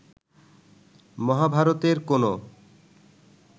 মহাভারতের কোন